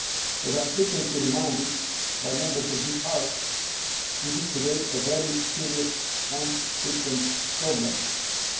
As I am frequently reminded by Members of this House, this is a very serious and frequent problem today.